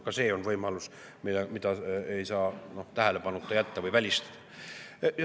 Ka see on võimalus, mida ei saa tähelepanuta jätta või välistada.